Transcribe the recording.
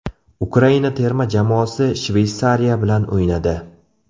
Ukraina terma jamoasi Shveysariya bilan o‘ynadi.